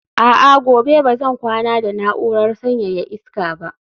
a'a, gobe ba zan kwana da na'urar sanyaya iska ba